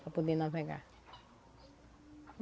para poder navegar.